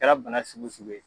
Kɛra bana sugu sugu ye.